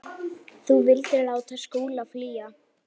Þú vildir láta Skúla flýja.